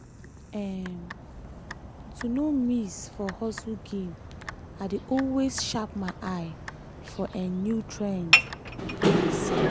um to no miss for hustle game i dey always sharp my eye for um new trends wey dey sell.